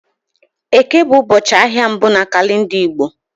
Eke bụ ụbọchị ahịa mbụ na kalenda Igbo